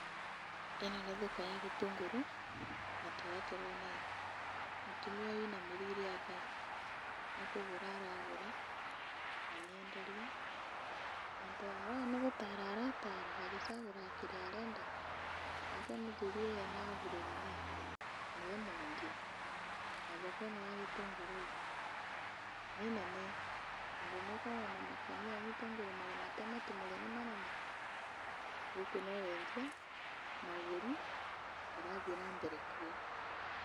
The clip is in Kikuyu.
ĩno nĩ thoko ya gĩtũngũrũ na torĩa tũrona ĩĩ mũtumia ũyũ ainamĩrĩire aba, nĩkũgũra aragũra na nĩenderwa na nĩtũrona nĩgũtara aratara agĩcagũraga kĩrĩa arenda, nake mũthuri ũyũ ena aburoni ĩĩ, nĩwe mwendia, na thoko ĩno ya gĩtũngũrĩ ĩĩ nĩ nene, tondũ nĩũkuona ona makũnia ma gĩtũngũrũ marĩa matematumũre nĩ manene, gũkũ no wendia na ũgũri ũrathiĩ na mbere kuo.